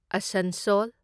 Asansol